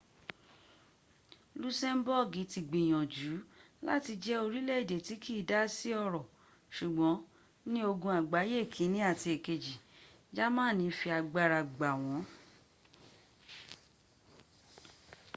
lusemboogi ti gbiyanju lati je orileede ti kii da si oro sugbon ni ogun agbaye ikini ati ikeji jamani fi agbara gba won